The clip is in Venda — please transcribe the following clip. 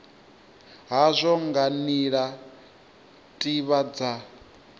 hazwo nga nila tiwa dza